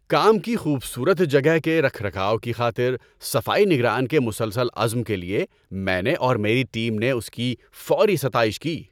کام کی خوبصورت جگہ کے رکھ رکھاؤ کی خاطر صفائی نگران کے مسلسل عزم کے لیے میں نے اور میری ٹیم نے اس کی فوری ستائش کی۔